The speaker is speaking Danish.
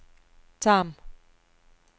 Tarm